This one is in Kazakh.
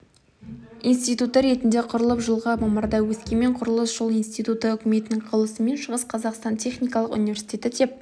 институты ретінде құрылып жылғы мамырда өскемен құрылыс-жол институты үкіметінің қаулысымен шығыс қазақстан техникалық университеті деп